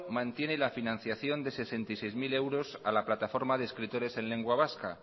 mantiene la financiación de sesenta y seis mil euros a la plataforma de escritores en lengua vasca